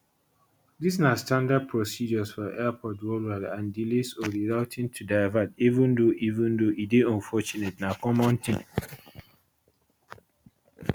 dis na standard procedures for airports worldwide and delays or rerouting to divert even though even though e dey unfortunate na common tin